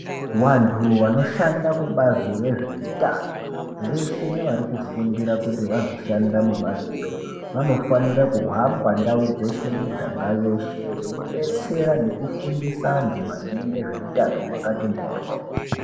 Vantu vanoshanda kubazi rezveutano veshe nevarikufundira kuti vazoshanda mubazi iroro. Vanofanira kuhamba ndau dzeshe miganga yeshe veibetsera nekufusa antu maringe ngezveutano hwakati mworyo.